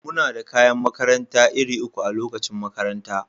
Muna da kayan makaranta iri uku a lokacin makaranta.